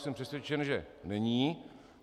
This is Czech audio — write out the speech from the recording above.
Jsem přesvědčen, že není.